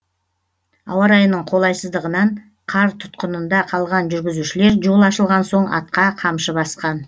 ауа райының қолайсыздығынан қар тұтқынында қалған жүргізушілер жол ашылған соң атқа қамшы басқан